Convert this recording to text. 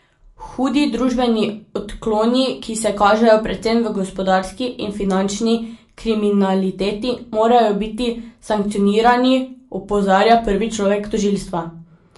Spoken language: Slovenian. Hudi družbeni odkloni, ki se kažejo predvsem v gospodarski in finančni kriminaliteti, morajo biti sankcionirani, opozarja prvi človek tožilstva.